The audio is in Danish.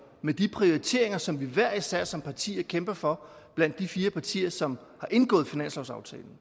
med de prioriteringer som vi hver især som parti kæmper for blandt de fire partier som har indgået finanslovsaftalen